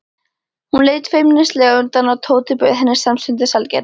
Hún leit feimnislega undan og Tóti bauð henni samstundis sælgæti.